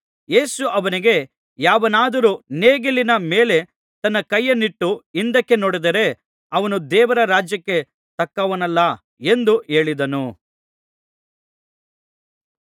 ಯೇಸು ಅವನಿಗೆ ಯಾವನಾದರೂ ನೇಗಿಲಿನ ಮೇಲೆ ತನ್ನ ಕೈಯನ್ನಿಟ್ಟು ಹಿಂದಕ್ಕೆ ನೋಡಿದರೆ ಅವನು ದೇವರ ರಾಜ್ಯಕ್ಕೆ ತಕ್ಕವನಲ್ಲ ಎಂದು ಹೇಳಿದನು